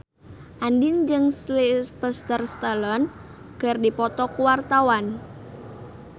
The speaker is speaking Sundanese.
Andien jeung Sylvester Stallone keur dipoto ku wartawan